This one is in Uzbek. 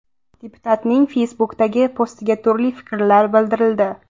Deputatning Facebook’dagi postiga turli fikrlar bildirildi.